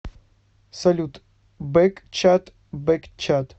салют бэкчат бэкчат